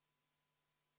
Austatud minister!